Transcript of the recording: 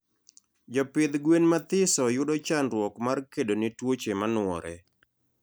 Jopidh gwen mathiso yudo chandruok mar kedone tuoche manuore